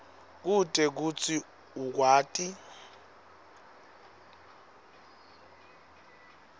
kute kutsi ukwati